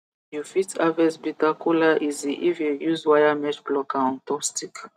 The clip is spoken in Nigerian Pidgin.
you fit harvest bitter kola easy if you use wiremesh plucker on top stick